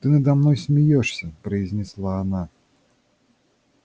ты надо мной смеёшься произнесла она